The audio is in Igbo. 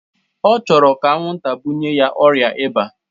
Ọ chọrọ ka anwụnta bunye ya ọrịa ịba